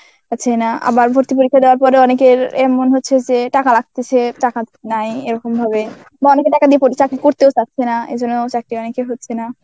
পাছেই না. আবার ভর্তি পরীক্ষা দেওয়ার পরে অনেকের এমন হচ্ছে যে টাকা লাগতেসে টাকা নাই এরকম ভাবে বা অনেকে টাকা দিয়ে পড়~ চাকরি করতেও চাচ্ছে না এই জন্য চাকরি অনেকে হচ্ছে না.